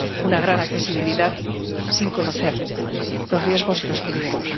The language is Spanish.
una gran accesibilidad, sin conocer los riesgos y los peligros.